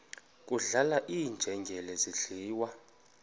kudlala iinjengele zidliwa